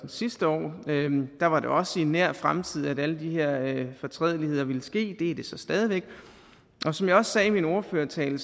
sidste år der var det også i nær fremtid at alle de her fortrædeligheder ville ske og det er det så stadig væk og som jeg også sagde i min ordførertale